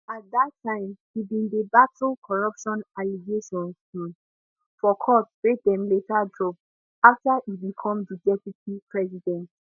at dat time e bin dey battle corruption allegations um for court wey dem later drop after e become di deputy president